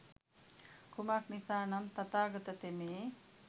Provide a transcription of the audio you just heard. කුමක් නිසා නම් තථාගත තෙමේ